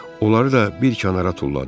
Onları da bir kənara tulladı.